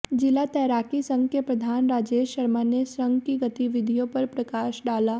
जिला तैराकी संघ के प्रधान राजेश शर्मा ने संघ की गतिविधियों पर प्रकाश डाला